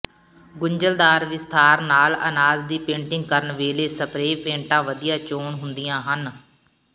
ਗੁੰਝਲਦਾਰ ਵਿਸਥਾਰ ਨਾਲ ਅਨਾਜ ਦੀ ਪੇਂਟਿੰਗ ਕਰਨ ਵੇਲੇ ਸਪਰੇਅ ਪੇਂਟਾਂ ਵਧੀਆ ਚੋਣ ਹੁੰਦੀਆਂ ਹਨ